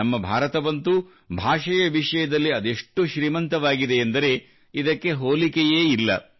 ನಮ್ಮ ಭಾರತವಂತೂ ಭಾಷೆಯ ವಿಷಯದಲ್ಲಿ ಅದೆಷ್ಟು ಶ್ರೀಮಂತವಾಗಿದೆಯೆಂದರೆ ಇದಕ್ಕೆ ಹೋಲಿಕೆಯೇ ಇಲ್ಲ